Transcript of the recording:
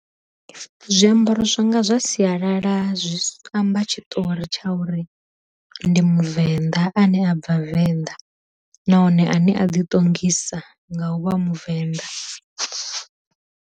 Zwiambaro zwanga zwa sialala zwi amba tshiṱori tsha uri ndi muvenḓa, ane a bva venḓa nahone ane a ḓi ṱongisa nga u vha muvenda.